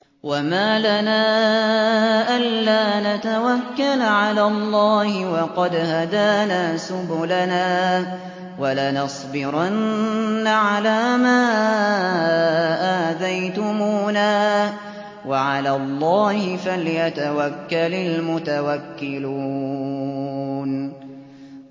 وَمَا لَنَا أَلَّا نَتَوَكَّلَ عَلَى اللَّهِ وَقَدْ هَدَانَا سُبُلَنَا ۚ وَلَنَصْبِرَنَّ عَلَىٰ مَا آذَيْتُمُونَا ۚ وَعَلَى اللَّهِ فَلْيَتَوَكَّلِ الْمُتَوَكِّلُونَ